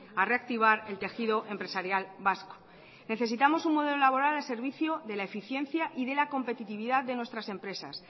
a reactivar el tejido empresarial vasco necesitamos un modelo laboral al servicio de la eficiencia y de la competitividad de nuestras empresas